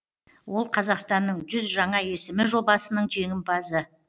ол қазақстанның жүз жаңа есімі жобасының жеңімпазы